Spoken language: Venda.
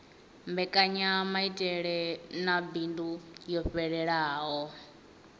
mbekanyamaitele ya bindu yo fhelelaho